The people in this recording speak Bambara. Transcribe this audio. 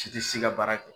Si tɛ si ka baara kɛ